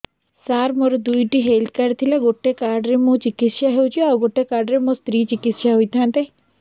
ସାର ମୋର ଦୁଇଟି health card ଥିଲା ଗୋଟେ କାର୍ଡ ରେ ମୁଁ ଚିକିତ୍ସା ହେଉଛି ଆଉ ଗୋଟେ କାର୍ଡ ରେ ମୋ ସ୍ତ୍ରୀ ଚିକିତ୍ସା ହୋଇଥାନ୍ତେ